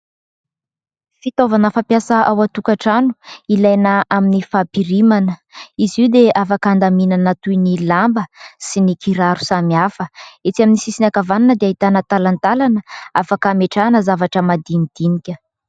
Fitaovana fampiasa ao an-tokatrano. Ilaina amin'ny fampirimana. Izy io dia afaka andaminana toy ny lamba sy ny kiraro samihafa. Etsy amin'ny sisiny ankavanana dia ahitana talantalana afaka hametrahana zavatra madinidinika.